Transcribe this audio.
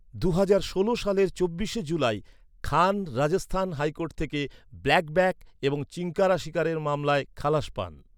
দুহাজার ষোল সালের চব্বিশে জুলাই খান রাজস্থান হাইকোর্ট থেকে ব্ল্যাকবাক এবং চিঙ্কারা শিকারের মামলায় খালাস পান।